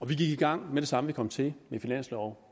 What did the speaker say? vi gik i gang med det samme vi kom til med finansloven